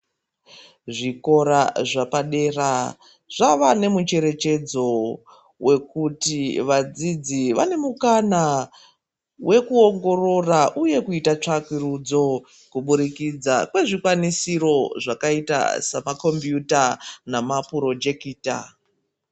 Zvikora zvepadera zvava nemucherechedzo wekuti vadzidzi vane mukana wekuongorora uye kuita tsvakurudzo kuburikidza kwezvikwanisiro zvakaita samakombiyuta namapurojekita.